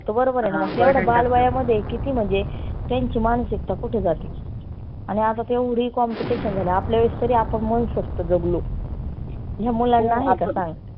तो बरोबर आहेना एवढ्या बाल वयामध्ये किती म्हणजे त्यांची मानसिकता कुठे जाती? आणि आता एवढी competition झाली. आपल्या वेळेस तरी आपण मनसोक्त जगलो ह्या मुलांना